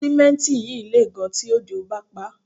Símẹ́ǹtì yìí lè gan tí òjò bá paá